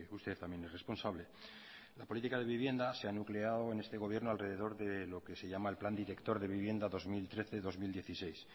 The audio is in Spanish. usted también es responsable la política de vivienda se ha nucleado en este gobierno alrededor de lo que se llama el plan director de vivienda dos mil trece dos mil dieciséis